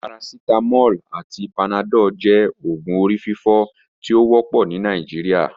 Paracetamol ati panadol jẹ oògùn orififo ti o wọpọ ni Nigeria.